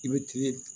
I bɛ ti